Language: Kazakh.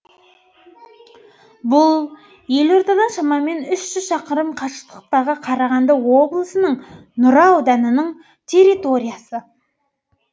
бұл елордадан шамамен үш жүз шақырым қашықтықтағы қарағанды облысының нұра ауданының территориясы